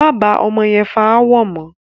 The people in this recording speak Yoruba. Máa bá ọmọ yẹn fà ááwọ̀ mọ!